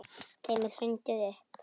Þeim er hrundið upp.